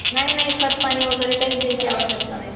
नाही नाही खतपाणी काहीच द्यायची आवश्यकता नाही.